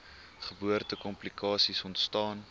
geboorte komplikasies ontstaan